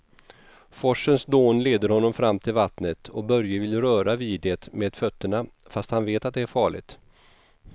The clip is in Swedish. Forsens dån leder honom fram till vattnet och Börje vill röra vid det med fötterna, fast han vet att det är farligt.